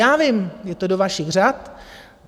Já vím, je to do vašich řad.